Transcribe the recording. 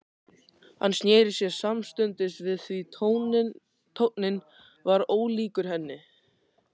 Hann sneri sér samstundis við því tónninn var ólíkur henni.